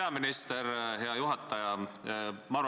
Aitäh, hea juhataja!